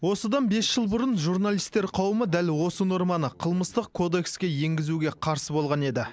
осыдан бес жыл бұрын журналистер қауымы дәл осы норманы қылмыстық кодекске енгізуге қарсы болған еді